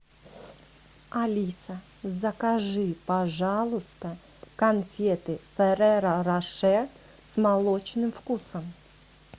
алиса закажи пожалуйста конфеты ферреро роше с молочным вкусом